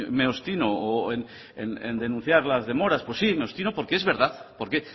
me obstino en denunciar las demoras pues sí me obstino porque es verdad porque